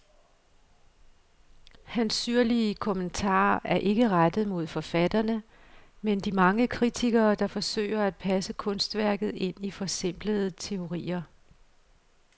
Hans syrlige kommentarer er ikke rettet mod forfatterne, men de mange kritikere, der forsøger at passe kunstværket ind i forsimplende teorier.